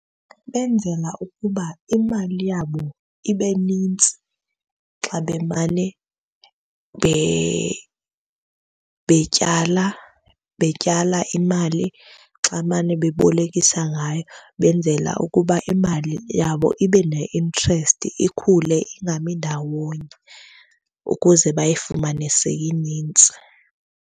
Benzela ukuba imali yabo ibe nintsi xa bemane betyala, betyala imali. Xa mane bebolekisa ngayo benzela ukuba imali yabo ibe ne-interest ikhule, ingami ndawonye ukuze bayifumane seyinintsi.